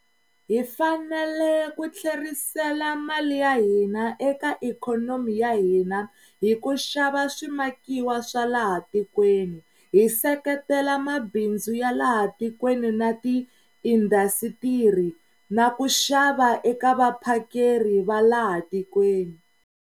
Hi fanele ku tlherisela mali ya hina eka ikhonomi ya hina hi ku xava swimakiwa swa laha tikweni, hi seketela mabindzu ya laha tikweni na tiindasitiri na ku xava eka vaphakeri va laha tikweni.